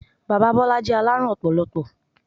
Bàbá Bọ́lá jẹ́ alárùn ọpọlọpọ.